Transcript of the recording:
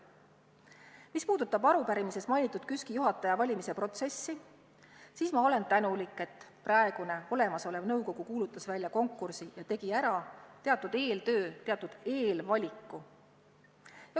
Mis puudutab arupärimises mainitud KÜSK-i juhataja valimise protsessi, siis ma olen tänulik, et praegune olemasolev nõukogu kuulutas välja konkursi ja tegi ära teatud eeltöö, teatud eelvaliku.